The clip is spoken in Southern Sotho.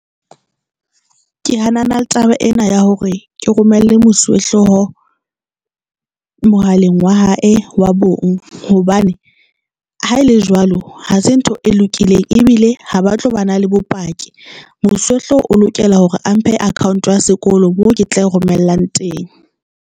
Ke hanana le taba ena ya hore ke romelle mosuwehlooho mohaleng wa hae wa bong. Hobane ha ele jwalo, ha se ntho e lokileng ebile ha ba tlo ba na le bopaki. Mosuwehlooho o lokela hore a mphe account ya sekolo mo ke tla romellang teng.